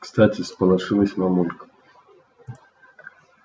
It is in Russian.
кстати всполошилась мамулька